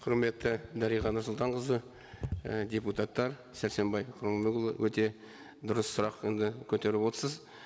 құрметті дариға нұрсұлтанқызы і депутаттар сәрсенбай құрманұлы өте дұрыс сұрақ енді көтеріп отырсыз